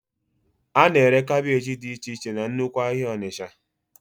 A na-ere kaabéji dị iche iche na nnukwu ahịa Onitsha